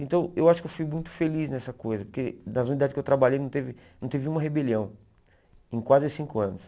Então, eu acho que eu fui muito feliz nessa coisa, porque nas unidades que eu trabalhei não teve não teve uma rebelião, em quase cinco anos.